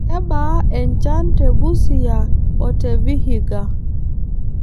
Kebaa enchan te Busia o te Vihiga.